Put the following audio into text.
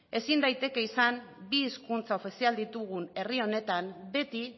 ezin daiteke izan bi hizkuntza ofizial ditugun herri honetan beti